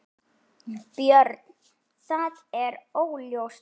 Björn: Það er óljóst?